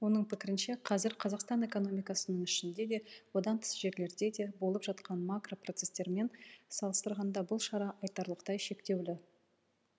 оның пікірінше қазір қазақстан экономикасының ішінде де одан тыс жерлерде де болып жатқан макро процестермен салыстырғанда бұл шара айтарлықтай шектеулі